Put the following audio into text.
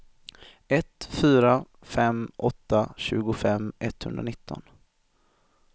ett fyra fem åtta tjugofem etthundranitton